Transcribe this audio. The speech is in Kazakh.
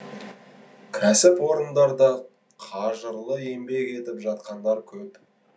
кәсіпорындарда қажырлы еңбек етіп жатқандар көп